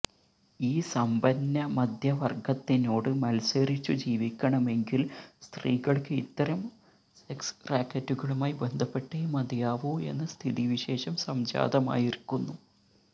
ഈ സമ്പന്നമദ്ധ്യവർഗ്ഗത്തിനോട് മത്സരിച്ചു ജീവിക്കണമെങ്കിൽ സ്ത്രീകൾക്ക് ഇത്തരം സെക്സ് റാക്കറ്റുകളുമായി ബന്ധപ്പെട്ടേ മതിയാവൂ എന്ന സ്ഥിതിവിശേഷം സംജാതമായിരിക്കുന്നു